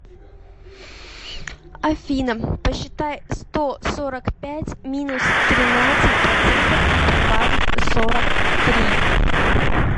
афина посчитай сто сорок пять минус тринадцать процентов и прибавить сорок три